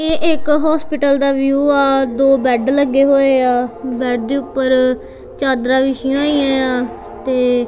ਇਹ ਇੱਕ ਹੌਸਪੀਟਲ ਦਾ ਵਿਊ ਐ ਦੋ ਬੇਡ ਲੱਗੇ ਹੋਏ ਐ ਬੇਡ ਦੇ ਉੱਪਰ ਚਾਦਰਾਂ ਵਿਸ਼ੀਆ ਹੋਈਆਂ ਏ ਆ ਤੇ--